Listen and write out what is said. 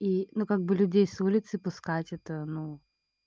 и ну как бы людей с улицы пускать это ну